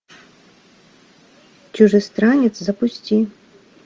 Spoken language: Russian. чужестранец запусти